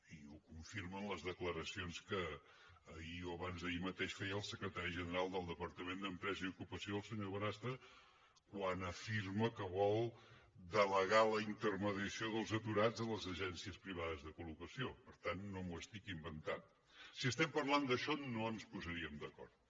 i ho confirmen les declaracions que ahir o abans d’ahir mateix feia el secretari general del departament d’empresa i ocupació el senyor bonastre quan afirmava que vol delegar la intermediació dels aturats a les agències privades de col·lem d’això no ens posaríem d’acord